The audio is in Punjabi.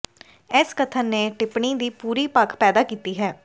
ਇਸ ਕਥਨ ਨੇ ਟਿੱਪਣੀ ਦੀ ਪੂਰੀ ਭਖ ਪੈਦਾ ਕੀਤੀ ਹੈ